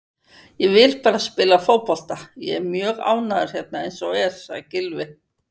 Ég vil bara spila fótbolta, ég er mjög ánægður hérna eins og er, sagði Gylfi.